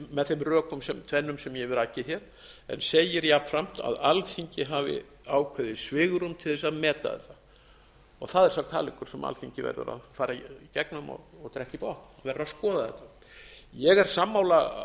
með þeim rökum tvennum sem ég hef rakið hér en segir jafnframt að alþingi hafi ákveðið svigrúm til þess að meta þetta það er sá kaleikur sem alþingi verður að fara í gegnum og drekka í botn verður að skoða þetta ég er sammála